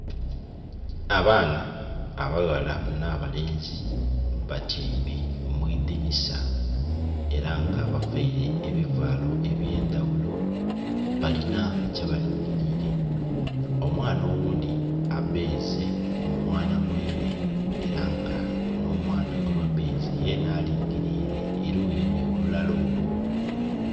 Abaana abaghala nha balenzi batyeime mwidinhisa era nga baveire ebivalo ebyendaghulo balinha kyeba lingirile, omwaana oghundhi abeeze mmwaana mwine era nga nho mwaana gweba beeze yenha alingirile eluyi nho lulala olwo.